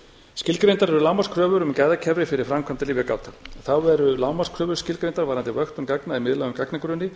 skilgreindar eru lágmarkskröfur um gæðakerfi fyrir framkvæmda lyfjagát þá eru lágmarks kröfur varðandi vöktun gagna í miðlægum gagnagrunni